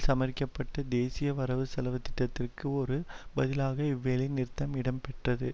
சமர்ரிக்கப்பட்டு தேசிய வரவுசெலவு திட்டத்திற்கு ஒரு பதிலாக இவ்வேலை நிறுத்தம் இடம்பெற்றது